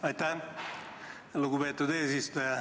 Aitäh, lugupeetud eesistuja!